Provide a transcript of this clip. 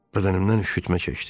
Bədənimdən üşütmə keçdi.